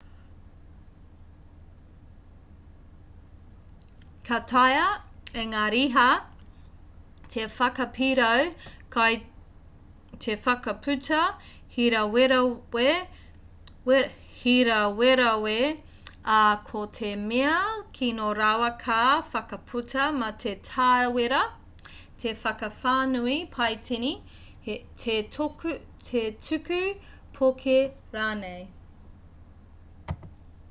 ka taea e ngā riha te whakapirau kai te whakaputa hīrawerawe ā ko te mea kino rawa ka whakaputa mate tāwera te whakawhānui paitini te tuku poke rānei